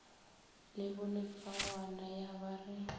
le bolefagwana ya ba re